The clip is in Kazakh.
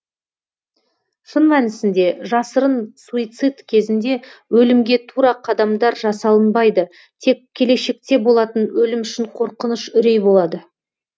шын мәнісінде жасырын суицид кезінде өлімге тура қадамдар жасалынбайды тек келешекте болатын өлім үшін қорқыныш үрей болады